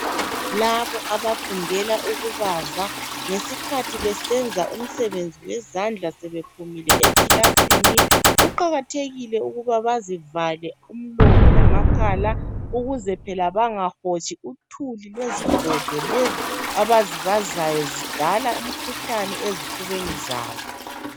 Labo abafundela ukubaza ngesikhathi besenza umsebenzi wezandla sebephumile ekilasini kuqakathekile ukuba bazivale umlomo lamakhala ukuze phela bangahotshi uthuli lwezigodo abazibazayo ngoba zidala umkhuhlane ezifubeni zabo.